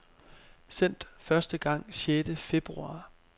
Sendt første gang sjette februar.